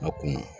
A kunna